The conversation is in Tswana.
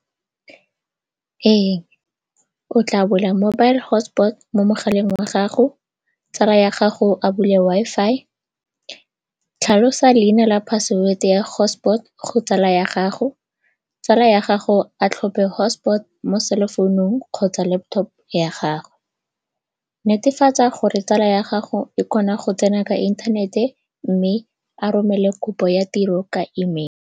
Ee, o tla bula mobile hotspot mo mogaleng wa gago, tsala ya gago a bule Wi-Fi, tlhalosa leina la password ya hotspot go tsala ya gago. Tsala ya gago a tlhophe hotspot mo selofounong kgotsa laptop ya gago. Netefatsa gore tsala ya gago e kgona go tsena ka inthanete mme a romele kopo ya tiro ka e-mail.